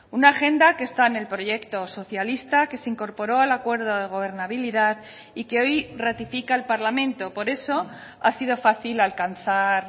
una agenda que está en el proyecto socialista que se incorporó al acuerdo de gobernabilidad y que hoy ratifica el parlamento por eso ha sido fácil alcanzar